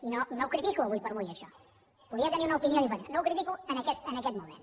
i no ho critico ara per ara això podria tenir una opinió diferent no ho critico en aquest moment